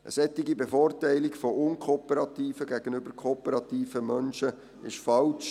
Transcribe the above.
Eine solche Bevorteilung unkooperativer gegenüber kooperativer Menschen ist falsch.